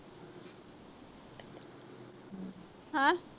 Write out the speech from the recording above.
ਹਾਂ।